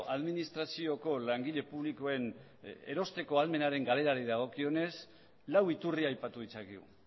administrazioko langile publikoen erosteko ahalmenaren galerari dagokionez lau iturri aipatu ditzakegu